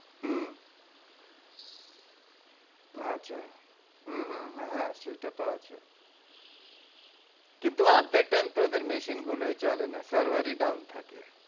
হম আচ্ছা হম হম হ্যাঁ সেইটা তো আছে কিন্তু অর্ধেক time তো ওদের machine গুলোই চলে না। server ই down থাকে।